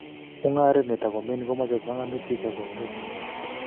Mungaret netakomining' komache panganutik ak konunet nenyolu